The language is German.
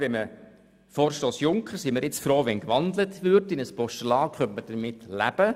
Wir sind froh, wenn der Vorstoss Junker in ein Postulat gewandelt wird, damit können wir leben.